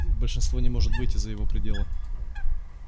и большинство не может выйти за его пределы